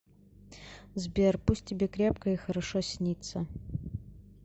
сбер пусть тебе крепко и хорошо снится